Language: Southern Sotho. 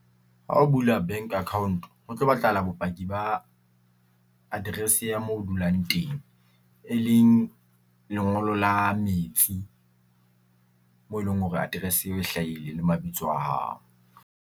Ha o bula bank account ho tlo batlahala bopaki ba address ya mo dulang teng, e leng lengolo la metsi mo eleng hore address eo e hlahile le mabitso a hao.